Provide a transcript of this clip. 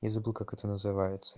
и забыл как это называется